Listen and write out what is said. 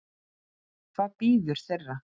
Hvað bíður þeirra?